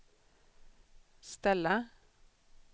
ställa